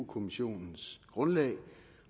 kommissionens grundlag